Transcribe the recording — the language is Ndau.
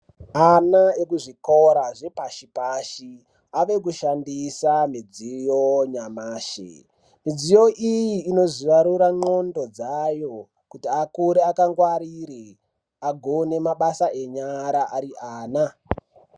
Ana ekuzvikora zvepashi pashi avekushandisa midziyo yanyamashi midziyi iyi inozarura ndxondo dzayo kuti akure akangwarire agone mabasa enyara ariana.